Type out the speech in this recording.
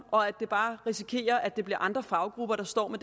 og at vi bare risikerer at det bliver andre faggrupper der står med